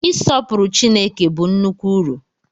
Ịsọpụrụ Chineke bụ nnukwu uru.